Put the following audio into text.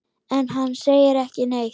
En hann segir ekki neitt.